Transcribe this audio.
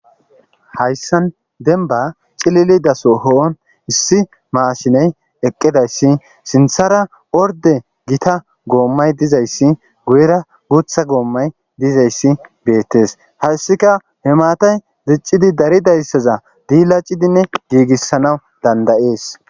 Hayssan denba cilili daso ho7on issi maashiney eqqidayssi sinthara orde gita goommay dizayssi guyera guutha goommay dizayssi beettes hayssika he maatay ziccidi dari dayssaza diila cidinne giigissanawu dandayees